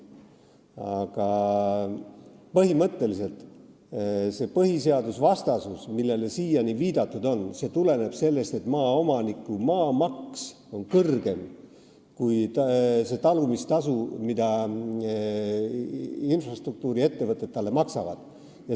Aga põhimõtteliselt see põhiseadusvastasus, millele siiani on viidatud, tuleneb sellest, et maaomaniku maamaks on kõrgem kui see talumistasu, mida infrastruktuuriettevõtted talle maksavad.